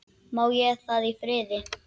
Má ég það í friði?